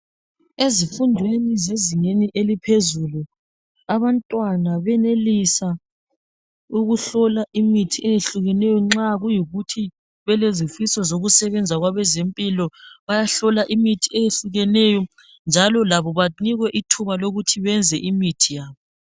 Ezifundweni zezingeni eliphezulu abantwana benelisa ukuhlola imithi eyehlukeneyo nxa kuyikuthi belezifiso zokusebenza kwabezempilo. Bayahlola imithi eyehlukeneyo njalo labo banikwe ithuba lokuthi benze imithi yabo.